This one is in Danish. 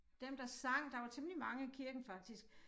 Dem der sang der var temmelig mange i kirken faktisk